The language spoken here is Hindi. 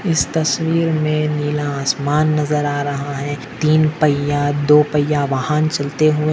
इस तस्वीर मे नीला आसमान नज़र आ रहा है तीन पहिया दो पहिया वाहन चलते हुये --